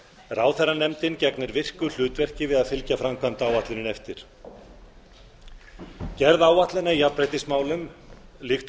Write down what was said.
ráðherranefndin gegnir virku hlutverki við að fylgja fram framkvæmdaáætluninni eftir gerð áætlana í jafnréttismálum líkt og